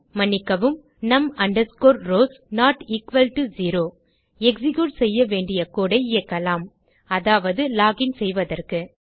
மன்னிக்கவும் num rows not equal zero execute செய்ய வேண்டிய கோடு ஐ இயக்கலாம் அதாவது லோகின் செய்வதற்கு